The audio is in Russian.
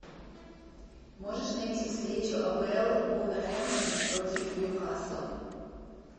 можешь найти встречу апл вулверхэмптон против ньюкасла